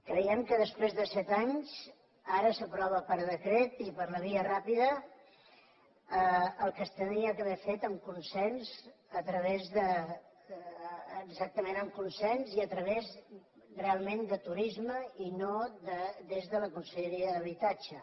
creiem que després de set anys ara s’aprova per decret i per la via ràpida el que s’hauria d’haver fet amb consens exactament amb consens i a través realment de turisme i no des de la conselleria d’habitatge